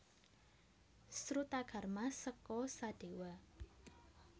Srutakarma seka Sadewa